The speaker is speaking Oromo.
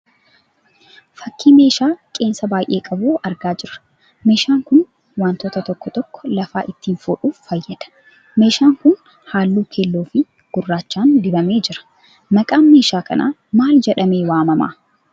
Fakkii meeshaa qeensa baayyee qabuu argaa jira. Meeshaan kun wantoota tokko tokko lafaa ittiin fuudhuuf fayyada. meeshaan kun halluu keelloo fi gurraachaan dibamee jira. maqaan meeshaa kanaa maal jedhamee waamama?